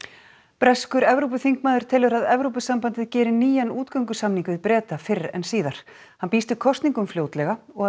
breskur Evrópuþingmaður telur að Evrópusambandið geri nýjan útgöngusamning við Breta fyrr en síðar hann býst við kosningum fljótlega og að